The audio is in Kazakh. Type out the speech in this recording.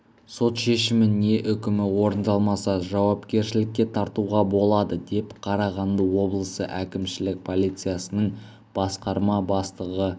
сот шешімі не үкімі орындалмаса жауапкершілікке тартуға болады деп қарағанды облысы әкімшілік полициясының басқарма бастығы